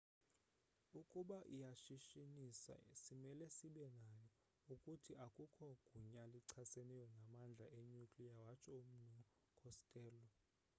"ukuba iyashishinisa simele sibe nayo. ukuthi, akukho gunya lichaseneyo namandla enuclear watsho umnu costello